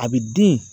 A bɛ den